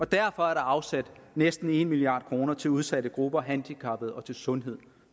der afsat næsten en milliard kroner til udsatte grupper handicappede og til sundhed